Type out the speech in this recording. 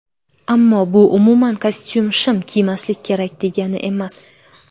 Ammo bu umuman kostyum-shim kiymaslik kerak degani emas.